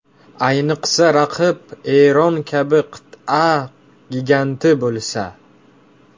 Ayniqsa raqib Eron kabi qit’a giganti bo‘lsa.